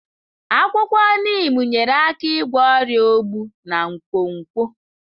Akwụkwọ Neem nyeere aka ịgwọ ọrịa ogbu na nkwonkwo.